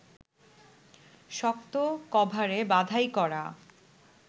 শক্ত কভারে বাঁধাই করা